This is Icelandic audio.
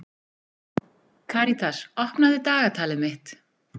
Karitas, opnaðu dagatalið mitt.